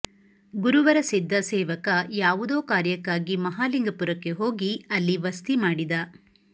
ಗುರುವರ ಸಿದ್ಧ ಸೇವಕ ಯಾವುದೋ ಕಾರ್ಯಕ್ಕಾಗಿ ಮಹಾಲಿಂಗಪುರಕ್ಕೆ ಹೋಗಿ ಅಲ್ಲಿ ವಸ್ತಿ ಮಾಡಿದ